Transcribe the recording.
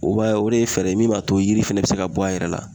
O b'a ye o de ye fɛɛrɛ ye min b'a to yiri fɛnɛ bɛ se ka bɔ a yɛrɛ la